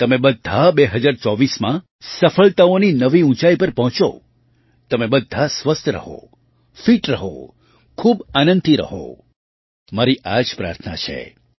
તમે બધાં 2024માં સફળતાઓની નવી ઊંચાઈ પર પહોંચો તમે બધાં સ્વસ્થ રહો ફિટ રહો ખૂબ આનંદથી રહો મારી આ જ પ્રાર્થના છે